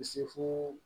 Se fo